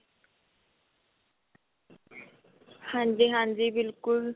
ਹਾਂਜੀ ਹਾਂਜੀ ਬਿਲਕੁਲ